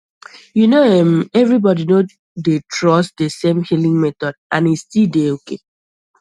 you know erm everybody no dey trust the same healing method and e still dey okay